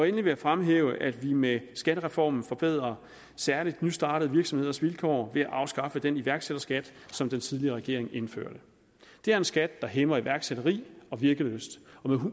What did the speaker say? jeg fremhæve at vi med skattereformen forbedrer særligt nystartede virksomheders vilkår ved at afskaffe den iværksætterskat som den tidligere regering indførte det er en skat der hæmmer iværksætteri og virkelyst og med